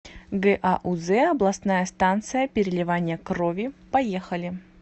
гауз областная станция переливания крови поехали